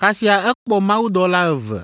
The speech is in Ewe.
kasia ekpɔ mawudɔla eve